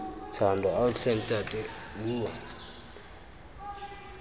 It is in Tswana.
thando ao tlhe ntate bua